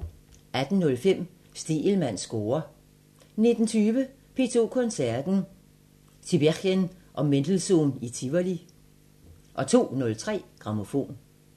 18:05: Stegelmanns score 19:20: P2 Koncerten – Tiberghien & Mendelssohn i Tivoli 02:03: Grammofon